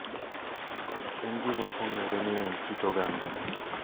En gima ong`ere ni en kit oganda.